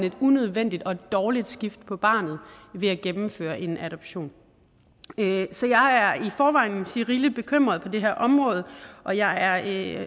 et unødvendigt og et dårligt skifte for barnet ved at gennemføre en adoption så jeg er i forvejen rigeligt bekymret på det her område og jeg er